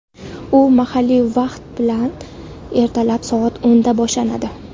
U mahalliy vaqt bilan ertalab soat o‘nda boshlanadi.